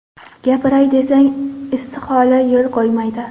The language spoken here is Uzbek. Gapiray desang, istihola yo‘l qo‘ymaydi.